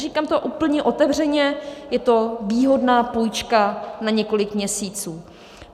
Říkám to úplně otevřeně, je to výhodná půjčka na několik měsíců.